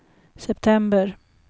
september